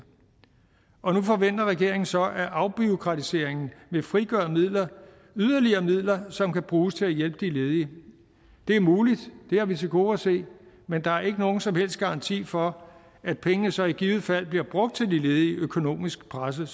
og nu forventer regeringen så at afbureaukratiseringen vil frigøre yderligere midler som kan bruges til at hjælpe de ledige det er muligt det har vi til gode at se men der er ikke nogen som helst garanti for at pengene så i givet fald bliver brugt til de ledige økonomisk pressede